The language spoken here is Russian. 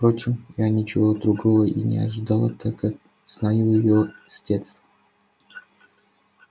впрочем я ничего другого и не ожидала так как знаю его с детства